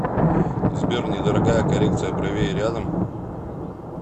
сбер недорогая коррекция бровей рядом